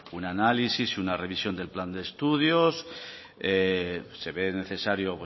un análisis y una revisión del plan de estudios se ve necesario